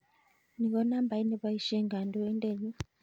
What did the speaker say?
Ni ko nambait nepoisyen kandoindenyun